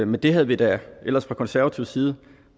men det havde vi da ellers fra konservativ side